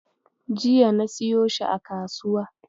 Jiya na siyo shi a kasuwa.